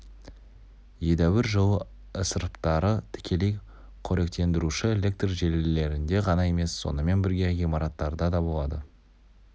едәуір жылу ысыраптары тікелей қоректендіруші электр желілерінде ғана емес сонымен бірге ғимараттарда да болады